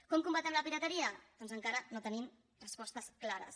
com combatem la pirateria doncs encara no tenim respostes clares